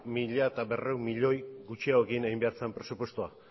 mila berrehun milioi gutxiagorekin egin behar zen presupuestoa